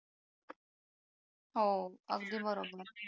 हो अगदी बरोबर